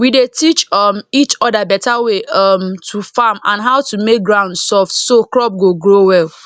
we dey teach um each other better way um to farm and how to make ground soft so crop go grow well